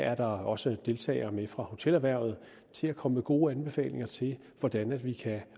er der også deltagere med fra hotelerhvervet til at komme med gode anbefalinger til hvordan vi kan